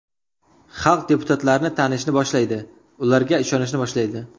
Xalq deputatlarni tanishni boshlaydi, ularga ishonishni boshlaydi.